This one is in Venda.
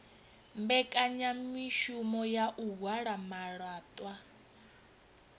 mbekanyamushumo ya u halwa malaṱwa